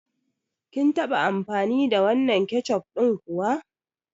Kin taɓa amfani da wannan keccof ɗin kuwa?